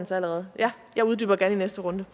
sig allerede men jeg uddyber gerne i næste runde